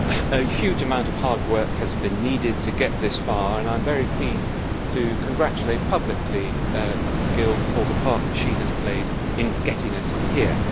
A huge amount of hard work has been needed to get this far and I am very keen to congratulate publicly Ms Gill on the part she has played in getting us here.